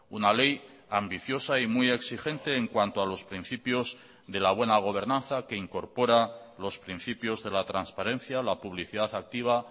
una ley ambiciosa y muy exigente en cuanto a los principios de la buena gobernanza que incorpora los principios de la transparencia la publicidad activa